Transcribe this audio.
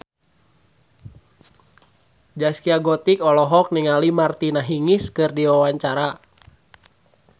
Zaskia Gotik olohok ningali Martina Hingis keur diwawancara